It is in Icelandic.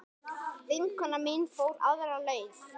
Vinkona mín fór aðra leið.